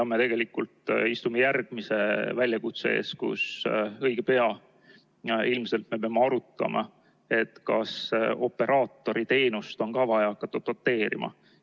Me tegelikult istume järgmise väljakutse ees, kus õige pea me peame ilmselt arutama, kas operaatoriteenust on vaja hakata doteerima.